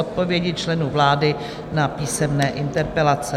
Odpovědi členů vlády na písemné interpelace